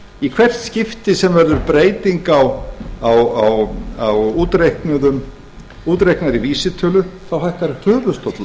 í hvert skipti sem verður breyting á útreiknaðri vísitölu hækkar höfuðstóll